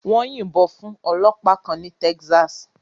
Wọ́n yìnbọn fún ọlọ́pàá kan ní Texas.